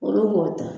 Olu b'o ta